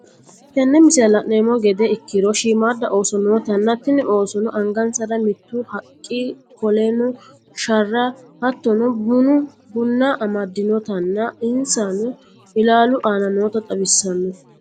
tenne misilerra lannemo gedde ikkiro shiimada ooso nootana tiini oosono anngansara miitu haqqa kolenno sharra, hattono buuna amadiinotanna ensanno elalu anna noota xawissano.